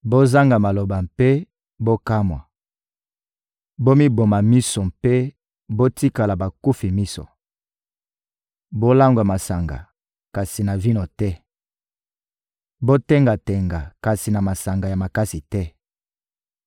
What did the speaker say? Bozanga maloba mpe bokamwa! Bomiboma miso mpe botikala bakufi miso! Bolangwa masanga, kasi na vino te! Botenga-tenga, kasi na masanga ya makasi te!